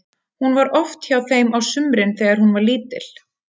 Hún var oft hjá þeim á sumrin þegar hún var lítil.